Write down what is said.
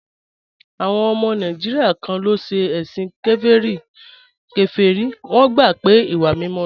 Àwọn ọmọ Nàìjíríà kan ló ń ṣe ẹ̀sìn kèfèrí, wọ́n gbà pé ìwà mímọ́ ni